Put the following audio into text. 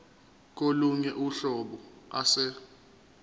kolunye uhlobo ase